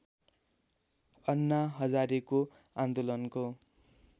अन्ना हजारेको आन्दोलनको